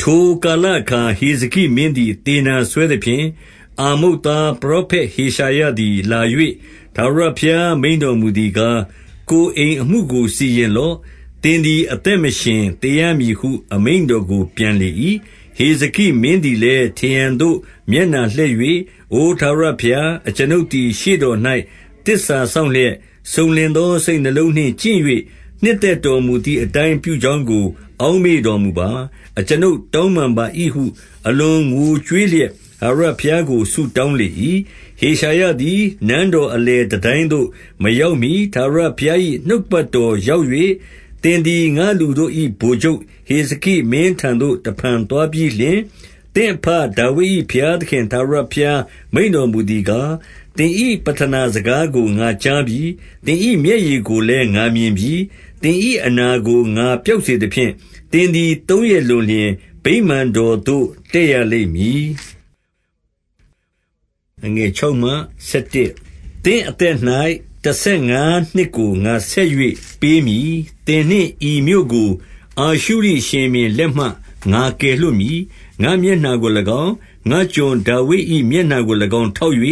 ထိုကာလအခါ ဟေဇကိမင်းသည် သေနာစွဲသဖြင့်၊ အာမုတ်သား ပရောဖက်ဟေရှာယသည် လာ၍ထာဝရ ဘုရားမိန့်တော်မူသည်ကား၊ ကိုယ်အိမ်အမှုကိုစီရင်လော့။ သင်သည် အသက်မရှင်သေရမည်ဟု အမိန့်တော်ကို ပြန်လေ၏။ ဟေဇကိမင်းသည်လည်း ထရံသို့မျက်နှာ လှည့်၍၊ အိုထာဝရဘုရား၊ အကျွန်ုပ်သည် ရှေ့တော်၌ သစ္စာစောင့်လျက်၊ စုံလင်သော စိတ်နှလုံးနှင့်ကျင့်၍ နှစ်သက်တော်မူသည်အတိုင်း ပြုကြောင်းကို အောက်မေ့ တော်မူပါ။ အကျွန်ုပ်တောင်းပန်ပါ၏ဟု အလွန်ငိုကြွေး လျက် ထာဝရဘုရားကို ဆုတောင်းလေ၏။ ဟေရှာယသည် နန်းတော်အလယ်တန်တိုင်းသို့ မရောက်မှီ ထာဝရဘုရား၏ နှုတ်ကပတ်တော်ရောက်၍၊ သင်သည် ငါ့လူတို့၏ ဗိုလ်ချုပ်ဟေဇကိမင်းထံ သို့ တဖန်သွားပြီးလျှင်၊ သင့်အဘဒါဝိဒ်၏ ဘုရားသခင် ထာဝရဘုရား မိန့်တော်မူသည်ကား၊ သင်၏ပဌနာ စကားကို ငါကြားပြီ။ သင်၏မျက်ရည်ကိုလည်း ငါမြင်ပြီ။ သင်၏အနာကို ငါပျောက်စေသဖြင့်၊ သင်သည်သုံးရက် လွန်လျှင် ဗိမာန်တော်သို့ တက်ရလိမ့်မည်။ သင့်အသက်၌ တဆယ်ငါးနှစ်ကို ငါဆက်၍ ပေးမည်။ သင်နှင့် ဤမြို့ကို အာရှုရိရှင်ဘုရင်လက်မှ ငါကယ်လွှတ်မည်။ ငါ့မျက်နှာကို၎င်း၊ ငါ့ကျွန်ဒါဝိဒ်၏ မျက်နှာကို၎င်းထောက်၍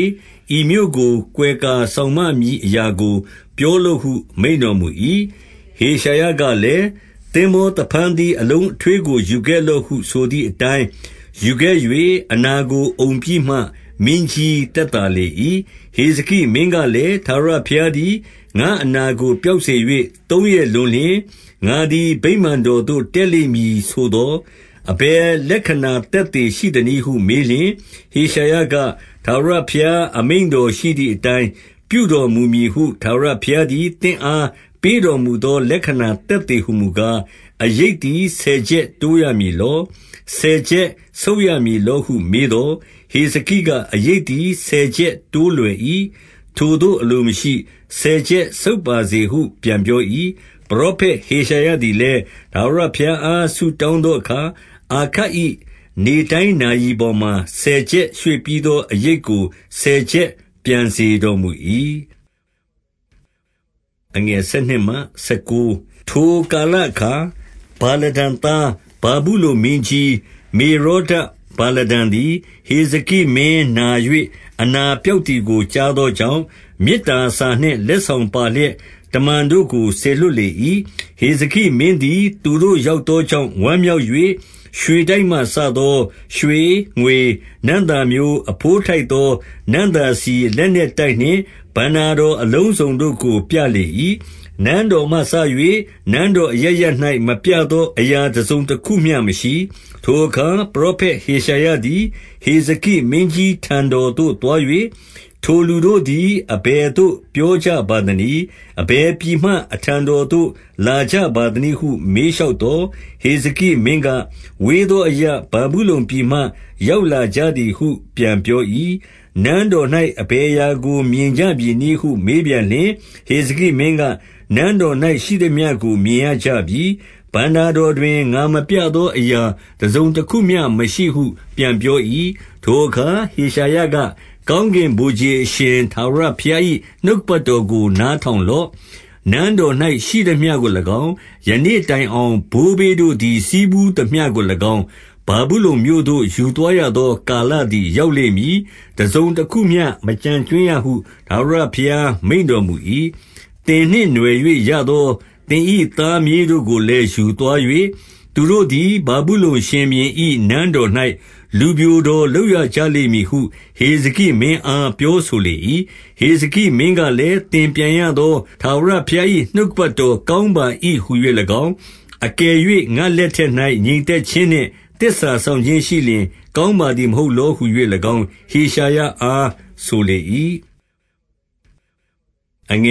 ဤမြို့ကို ကွယ်ကာစောင့်မမည် အရာကို ပြောလော့ဟု မိန့်တော်မူ၏။ ဟေရှာယကလည်း၊ သင်္ဘောသဖန်းသီးအလုံး အထွေးကို ယူခဲ့လော့ဟုဆိုသည်အတိုင်း ယူခဲ့၍အနာကို အုံပြီးမှ မင်းကြီးသက်သာလေ၏။ ဟေဇကိမင်းကလည်း၊ ထာဝရဘုရားသည် ငါ့အနာကို ပျောက်စေ၍ သုံးရက်လွန်လျှင် ငါသည် ဗိမာန်တော်သို့တက်လိမ့်မည်ဆိုသော်၊ အဘယ်လက္ခဏာ သက်သေရှိသနည်းဟု မေးလျှင်၊ ဟေရှာယက၊ ထာဝရဘုရား အမိန့်တော်ရှိသည် အတိုင်း ပြုတော်မူမည်ဟု ထာဝရဘုရားသည် သင့်အား ပေးတော်မူသော လက္ခဏာသက်သေဟူမူကား၊ အရိပ် သည် ဆယ်ချက်တိုးရမည်လော။ ဆယ်ချက်ဆုတ်ရမည် လောဟု မေးသော်၊ ဟေဇကိက၊ အရိပ်သည် ဆယ်ချက်တိုးလွယ်၏။ ထိုသို့အလိုမရှိ။ ဆယ်ချက်ဆုတ်ပါစေဟု ပြန်ပြော၏။ ပရောဖက်ဟေရှာယသည်လည်း၊ ထာဝရ ဘုရားအား ဆုတောင်းသောအခါ၊ အာခတ်၏နေတိုင်း နာရီပေါ်မှာဆယ်ချက်ရွေ့ပြီးသော အရိပ်ကို ဆယ်ချက် ပြန်စေတော်မူ၏။ ထိုကာလအခါ ဗာလဒန်သား ဗာဗုလုန်မင်းကြီး မေရောဒဗာလဒန်သည်၊ ဟေဇကိမင်းနာ၍ အနာ ပျောက်သည်ကို ကြားသောကြောင့်၊ မေတ္တာစာနှင့် လက်ဆောင်ပါလျက် တမန်တို့ကို စေလွှတ်လေ၏။ ဟေဇကိမင်းသည် သူတို့ရောက်သောကြောင့် ဝမ်းမြောက်၍ ရွှေတိုက်မှ စသော ရွှေ၊ ငွေ၊ နံ့သာမျိုး၊ အဘိုးထိုက်သော နံ့သာဆီ၊ လက်နက်တိုက်နှင့် ဘဏ္ဍာ တော်အလုံးစုံတို့ကိုပြလေ၏။ နန်းတော်မှစ၍ နိုင်ငံတော် အရပ်ရပ်၌ မပြသော အရာတစုံတခုမျှမရှိ။ ထိုအခါပရောဖက် ဟေရှာယသည် ဟေဇကိ မင်းကြီး ထံတော်သို့ သွား၍၊ ထိုလူတို့သည် အဘယ်သို့ ပြောကြပါသနည်း။ အဘယ်ပြည်မှ အထံတော်သို့ လာကြ ပါသနည်းဟု မေးလျှောက်သော်၊ ဟေဇကိမင်းက၊ ဝေးသောအရပ် ဗာဗုလုန်ပြည်မှ ရောက်လာကြသည်ဟု ပြန်ပြော၏။ နန်းတော်၌အဘယ်အရာကို မြင်ကြပြီနည်းဟု မေးပြန်လျှင်၊ ဟေဇကိမင်းက၊ နန်းတော်၌ရှိသမျှကို မြင်ရ ကြပြီ။ ဘဏ္ဍာတော်တွင် ငါမပြသောအရာ တစုံတခုမျှ မရှိဟု ပြန်ပြော၏။ ထိုအခါ ဟေရှာယက၊ ကောင်းကင်ဗိုလ်ခြေအရှင် ထာဝရဘုရား၏ နှုတ်ကပတ်တော်ကို နားထောင်လော့။ နန်းတော်၌ရှိသမျှကို၎င်း၊ ယနေ့တိုင်အောင် ဘိုးဘေးတို့သည် ဆည်းဖူးသမျှကို၎င်း၊ ဗာဗုလုန်မြို့သို့ ယူသွားရသော ကာလသည် ရောက်လိမ့်မည်။ တစုံတခုမျှ မကျန်ကြွင်းရဟု ထာဝရဘုရား မိန့်တော်မူ၏။ သင်နှင့် နွှယ်၍ရသောသင်၏ သားမြေးတို့ကို လည်း ယူသွား၍၊ သူတို့သည် ဗာဗုလုန်ရှင်ဘုရင်၏ နန်းတော်၌ လူပျိုတော်လုပ်ရကြလိမ့်မည်ဟု ဟေဇကိမင်း အား ပြောဆိုလေ၏။ ဟေဇကိမင်းကလည်း၊ သင်ပြန်ရသော ထာဝရ ဘုရား၏ နှုတ်ကပတ်တော်ကောင်းပါ၏ဟူ၍၎င်း၊ အကယ်၍ငါ့လက်ထက်၌ ငြိမ်သက်ခြင်းနှင့် သစ္စာစောင့် ခြင်းရှိလျှင် ကောင်းပါသည် မဟုတ်လောဟူ၍၎င်း၊ ဟေရှာယအား ဆိုလေ၏။ ဟေဇ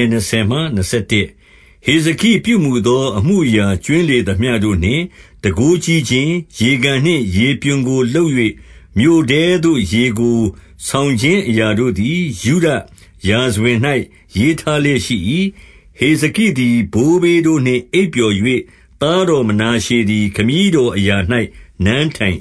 ကိပြုမူသော အမှုအရာ ကြွင်းလေသမျှတို့ နှင့် တန်ခိုးကြီးခြင်း၊ ရေကန်နှင့် ရေပြွန်ကို လုပ်၍ မြို့ထဲသို့ရေကို ဆောင်ခြင်းအရာတို့သည် ယုဒရာဇဝင်၌ ရေးထားလျက်ရှိ၏။ ဟေဇကိသည် ဘိုးဘေးတို့နှင့် အိပ်ပျော်၍ သားတော်မနာရှေသည် ခမည်းတော်အရာ၌နန်းထိုင်